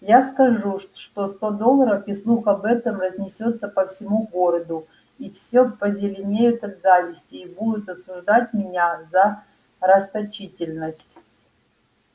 я скажу что сто долларов и слух об этом разнесётся по всему городу и все позеленеют от зависти и будут осуждать меня за расточительность